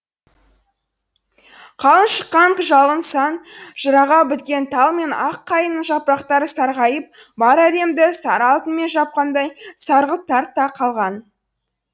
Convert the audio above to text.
қалың шыққан шалғын сай жыраға біткен тал мен ақ қайыңның жапырақтары сарғайып бар әлемді сары алтынмен жапқандай сарғылт тарта қалған